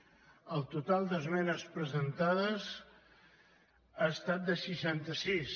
el total d’esmenes presentades ha estat de seixanta sis